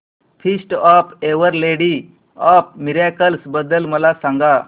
feast of our lady of miracles बद्दल मला सांगा